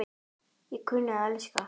Ég kunni að elska.